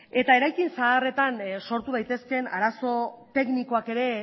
eta eraikin zaharretan sortu daitezkeen arazo teknikoak ere